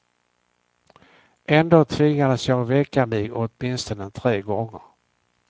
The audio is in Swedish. Ändå tvingades jag väcka mig åtminstone tre gånger.